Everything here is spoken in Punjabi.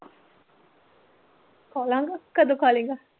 ਖਾ ਲਾਂਗਾ ਕਦੋ ਖਾਲੇਂਗਾ?